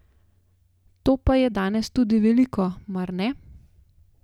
To pa je danes tudi veliko, mar ne?